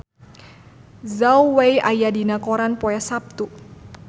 Zhao Wei aya dina koran poe Saptu